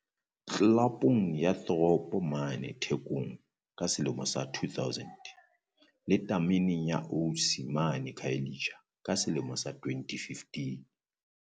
Tlelapong ya Throb mane Thekong ka selemo sa 2000, le tameneng ya Osi mane Khayelitsha ka selemo sa 2015.